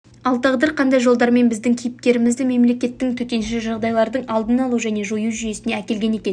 ал тағдыр қандай жолдармен біздің кейіпкерімізді мемлекеттің төтенше жағдайлардың алдын алу және жою жүйесіне әкелген екен